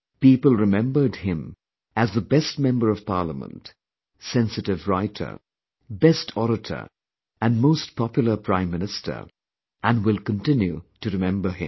People remembered him as the best member of Parliament, sensitive writer, best orator and most popular Prime Minister and will continue to remember him